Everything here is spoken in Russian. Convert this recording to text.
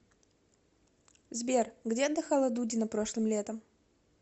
сбер где отдыхала дудина прошлым летом